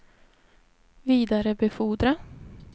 vidarebefordra